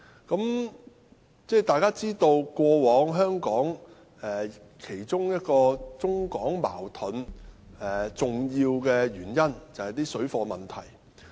大家都知道，過往中港矛盾的其中一個重要原因是水貨問題。